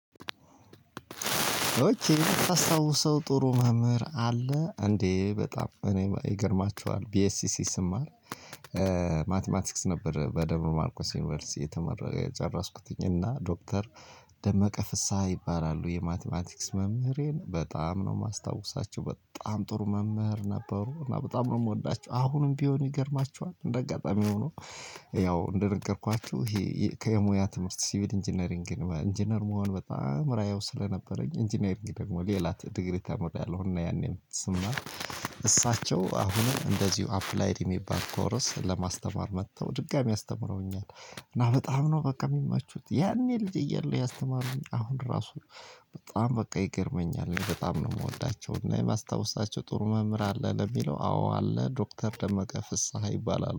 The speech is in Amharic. ኦኬ ታስታውሰው ጥሩ መምህር አለ እንዴ በጣም እኔ ይገርማችኋል ቢኤስሲሲ ስማር። ማቲማቲክስ ነበር በደንብ ማርኮስ ዩኒቨርሲቲ የተጨረስኩኝ እና ዶክተር ደመቀ ፍስሃ ይባላሉ። የማቲማቲክስ መምህሬን በጣም ነው የማስታውሳቸው በጣም ጥሩ መምህር ነበሩ። እና በጣም ነው የምወዳቸው አሁንም ቢሆን ይገርማችኋል እንደ አጋጣሚ ሆኖ። ያው እንደነገርኳችሁ ይሄ ከሙያ ትምህርት ሲቪል ኢንጂነሪንግ ኢንጂነር መሆን በጣም ራያው ስለነበረኝ ኢንጂነሪንግ ደግሞ ሌላ ዲግሪ ተምሪያለው። እና ያኔም ስምና እሳቸው አሁን እንደዚሁ አፕላይድ የሚባል ኮረስ ለማስተማር መጥተው ድጋሚ ያስተምረውኛል። እና በጣም ነው በቃ የሚመቹት ያኔ ልጅ እያለሁ ያስተማሩኝ አሁን ራሱ። በጣም በቃ ይገርመኛል በጣም ነው የምወዳቸው እና የማስታወሳቸው ጥሩ መምህር አለ ለሚለው አዎ አለ ዶክተር ደመቀ ፍስሃ ይባላል